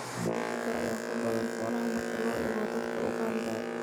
Kudka ayaa ku badan xoolaha marka loo eego dadka Uganda.